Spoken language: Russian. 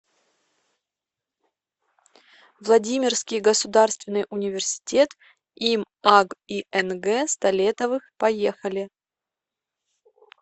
владимирский государственный университет им аг и нг столетовых поехали